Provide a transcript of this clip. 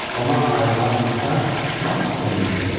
Ona ayrılan otaq lap ürəyincə idi.